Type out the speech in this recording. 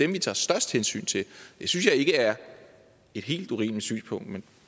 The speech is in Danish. vi tager størst hensyn til det synes jeg ikke er et helt urimeligt synspunkt men